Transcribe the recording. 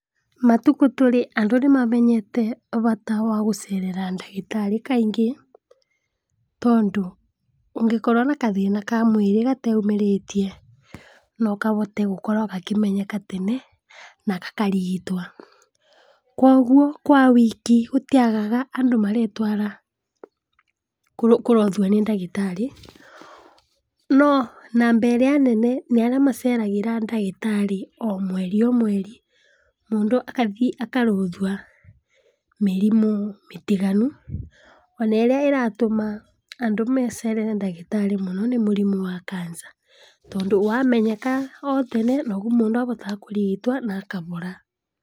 Matukũ tũrĩ andũ nĩmamenyete bata wa gũcerera ndagĩtarĩ kaingĩ, tondũ ũngĩkorwo na gathĩna ka mwĩrĩ gateũmĩrĩtie nokahote gũkorwa gakĩmenyeka tene na gakarigitwa, kwoguo kwa wiki gũtĩagaga andũ maretwara kũrorwa nĩ ndagĩtarĩ no namba ĩrĩa nene nĩarĩa maceragĩra ndaagĩtarĩ omweri omweri, mũndũ akathi akarorwa mĩrimũ mĩtiganu, ona ĩrĩa ĩratũma andũ macerere ndagĩtarĩ mũno nĩ mũrimũ wa cancer tondũ wamenyeka otene noguo mũndũ ahotaga kũrigitwa na akahora.